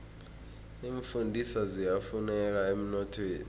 iimfundiswa ziyafuneka emnothweni